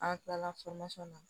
An kilala na